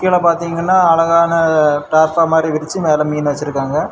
கீழ பாத்தீங்கன்னா அழகான தார்ப்பாய் மாதிரி விரிச்சு மேல மீனு வச்சிருக்காங்க.